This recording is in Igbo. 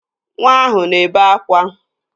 Nwa ahụ na-ebe akwa